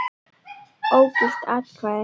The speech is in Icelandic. Ógild atkvæði